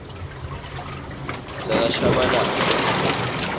yakashabalala